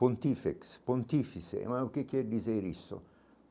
Pontifex, pontifice, mas o que quer dizer isso?